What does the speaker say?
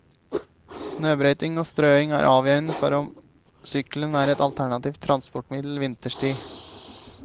Snøbrøyting og strøing er avgjørende for om sykkelen er et alternativt transportmiddel vinterstid.